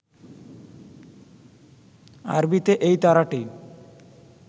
আরবিতে এই তারাটি